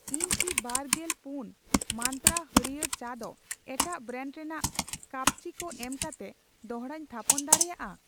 ᱤᱧ ᱠᱤ ᱜᱟᱨᱜᱮᱞ ᱯᱩᱱ ᱢᱟᱱᱛᱨᱟ ᱦᱟᱹᱲᱭᱟᱹᱨ ᱪᱟ ᱫᱚ ᱮᱴᱟᱜ ᱵᱨᱮᱱᱰ ᱨᱮᱱᱟᱜ ᱠᱟᱹᱯᱪᱤ ᱠᱩ ᱮᱢᱠᱟᱛᱮ ᱫᱚᱲᱦᱟᱧ ᱛᱷᱟᱯᱚᱱ ᱫᱟᱲᱮᱭᱟᱜᱼᱟ?